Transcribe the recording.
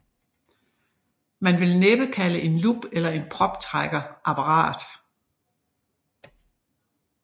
Man vil næppe kalde en lup eller en proptrækker apparat